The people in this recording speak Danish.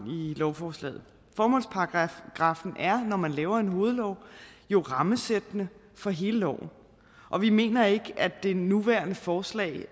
i lovforslaget formålsparagraffen er når man laver en hovedlov jo rammesættende for hele loven og vi mener ikke at det nuværende forslag